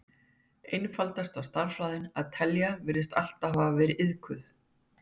Einfaldasta stærðfræðin, að telja, virðist alltaf hafa verið iðkuð.